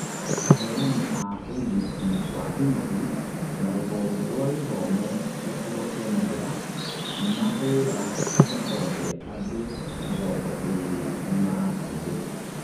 aheani a ũrigiti wa hi na hi na rũhonge rwa gĩthomo gĩcigo kia Mathira, nĩmahũra mũkonde andũ mĩrongo ĩrĩ nimarakuire.